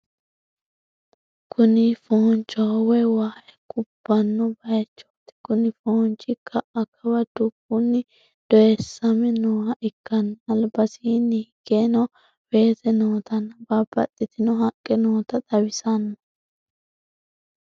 Kuni foonchoho woy waay kubbanno baaychooti kuni foonchi ka'a kawa dubbunni dooyiissame nooha ikkanna albasiinni higgeno weese nootanna babbaxitino haqqe noota xawissano.